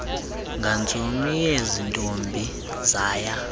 ngantsomi yaziintombi zaya